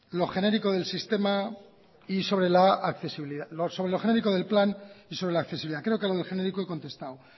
lo genérico del plan y sobre la accesibilidad creo que a lo de genérico he contestado